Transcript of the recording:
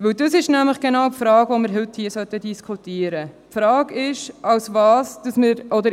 Dies ist genau die Frage, die wir heute hier diskutieren sollten: